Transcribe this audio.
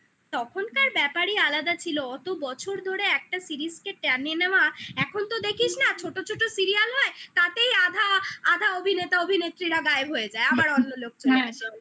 তখনকার ব্যাপারে আলাদা ছিল অত বছর ধরে একটা series টেনে নেওয়া এখন তো দেখিস না ছোট ছোট serial হয় তাতেই আধা আধা অভিনেতা অভিনেত্রীরা গায়েব হয়ে যায় আবার অন্য লোক চলে আসে